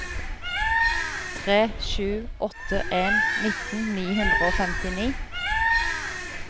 tre sju åtte en nitten ni hundre og femtini